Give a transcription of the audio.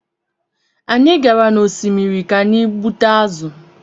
Anyị gara n’osimiri ka anyị gbute azụ̀